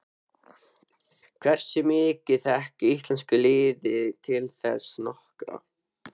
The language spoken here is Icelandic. Hversu mikið þekkir íslenska liðið til þess norska?